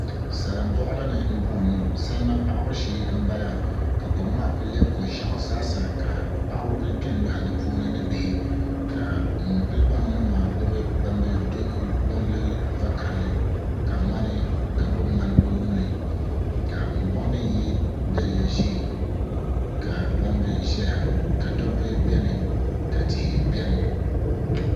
Salin boɣali ni n boŋo salima paɣabu shee n bala ka kom maa ku lɛbi ko ʒiɛɣu zaa sa ka paɣaba ku kpɛ n loɣi di puuni ni bihi ŋun kuli boŋo ŋo maa gbuni gbambili vakaɣali ka gbuni ŋmani o nuuni ka ŋun boŋo mii yɛ daliya ʒiɛ ka gbambili ʒɛya ka dabba biɛni ka tihi biɛni